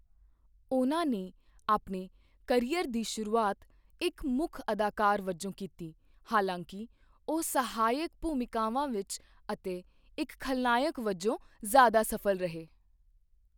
ਉਨ੍ਹਾਂ ਨੇ ਆਪਣੇ ਕੈਰੀਅਰ ਦੀ ਸ਼ੁਰੂਆਤ ਇੱਕ ਮੁੱਖ ਅਦਾਕਾਰ ਵਜੋਂ ਕੀਤੀ, ਹਾਲਾਂਕਿ ਉਹ ਸਹਾਇਕ ਭੂਮਿਕਾਵਾਂ ਵਿੱਚ ਅਤੇ ਇੱਕ ਖਲਨਾਇਕ ਵਜੋਂ ਜ਼ਿਆਦਾ ਸਫ਼ਲ ਰਹੇ I